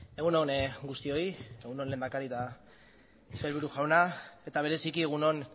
egun on guztioi egun on lehendakari eta sailburu jauna eta bereziki egun on